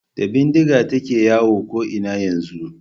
Da bindiga take yawo ko'ina yanzu.